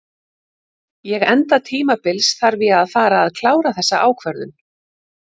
Ég enda tímabils þarf ég að fara að klára þessa ákvörðun.